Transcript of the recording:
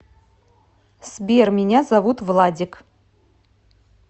сбер меня зовут владик